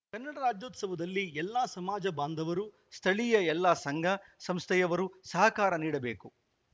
ಕನ್ನಡ ರಾಜ್ಯೋತ್ಸವದಲ್ಲಿ ಎಲ್ಲ ಸಮಾಜ ಬಾಂಧವರು ಸ್ಥಳೀಯ ಎಲ್ಲ ಸಂಘ ಸಂಸ್ಥೆಯವರು ಸಹಕಾರ ನೀಡಬೇಕು